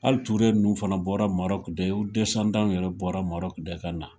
Hali Ture nun fana bɔra Maroc de, u yɛrɛ bɔra Maroc de kana.